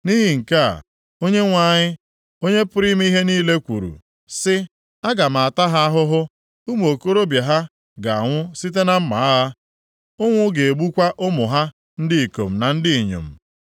Nʼihi nke a Onyenwe anyị, Onye pụrụ ime ihe niile kwuru, sị, “Aga m ata ha ahụhụ. Ụmụ okorobịa ha ga-anwụ site na mma agha, ụnwụ ga-egbukwa ụmụ ha ndị ikom na ndị inyom.